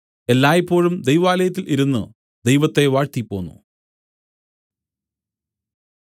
എല്ലായ്പോഴും ദൈവാലയത്തിൽ ഇരുന്നു ദൈവത്തെ വാഴ്ത്തിപ്പോന്നു